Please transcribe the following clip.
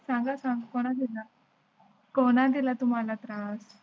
सागा सांग कोण येणार? कोणा दिला तुम्हाला त्रास?